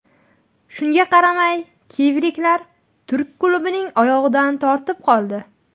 Shunga qaramay kiyevliklar turk klubining oyog‘idan tortib qoldi.